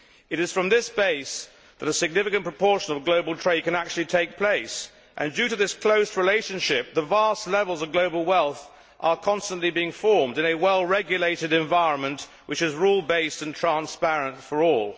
It is from this base that a significant proportion of global trade can actually take place and, due to this close relationship, vast levels of global wealth are constantly being formed in a well regulated environment, which is rule based and transparent for all.